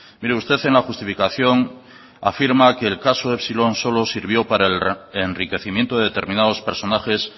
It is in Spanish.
mire usted en la justificación afirma que el caso epsilon solo sirvió para el enriquecimiento de determinados personajes